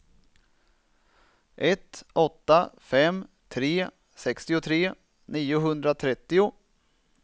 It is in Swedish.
ett åtta fem tre sextiotre niohundratrettio